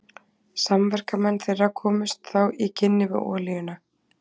Samverkamenn þeirra komust þá í kynni við olíuna.